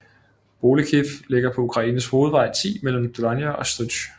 Bolekhiv ligger på Ukraines hovedvej 10 mellem Dolyna og Stryj